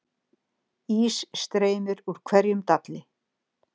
Ís streymir úr hverjum dalli